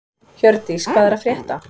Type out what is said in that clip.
Hjördís, hvað er að frétta?